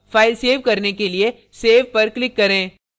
अब file save करने के लिए save पर click करें